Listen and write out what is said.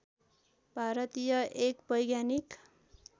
भारतीय एक वैज्ञानिक